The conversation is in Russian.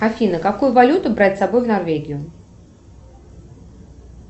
афина какую валюту брать с собой в норвегию